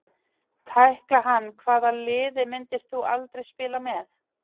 Tækla hann Hvaða liði myndir þú aldrei spila með?